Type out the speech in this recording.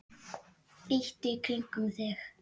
líttu í kringum þig